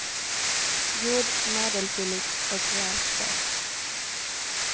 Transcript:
God, medelfyllig och rejält söt.